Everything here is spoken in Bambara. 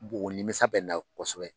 O nimisa bɛ n na kosɛbɛ.